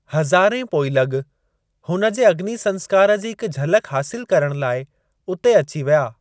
हज़ारें पोइलॻ हुन जे अग्नि संस्‍कार जी हिक झलक हासिल करण लाइ उते अची विया।